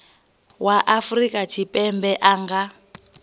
wa afrika tshipembe a nga